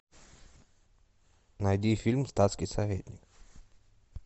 найди фильм статский советник